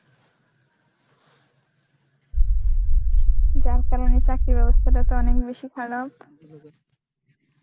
যার কারণে চাকরির ব্যবস্থাটা তো অনেক বেশি খারাপ.